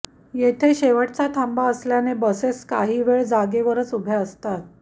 येथे शेवटचा थांबा असल्याने बसेस काहीवेळ जागेवरच उभ्या असतात